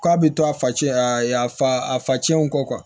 K'a bɛ to a face a fa a facɛnw kɔ